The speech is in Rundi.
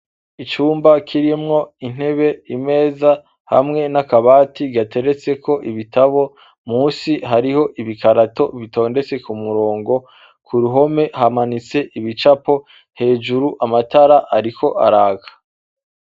Icumba kirimwo intebe imeza hamwe nakabati gateretseko ibitabo munsi hariho ibikarato bitondetse kumurongo kuruhome hamanitse ibicapo hejuru amatara ariko araka